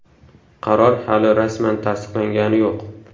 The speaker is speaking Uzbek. Qaror hali rasman tasdiqlangani yo‘q.